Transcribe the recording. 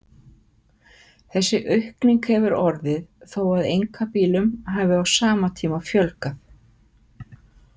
Þessi aukning hefur orðið þó að einkabílum hafi á sama tíma fjölgað.